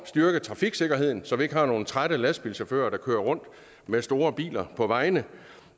styrke trafiksikkerheden så vi ikke har nogen trætte lastbilchauffører der kører rundt med store biler på vejene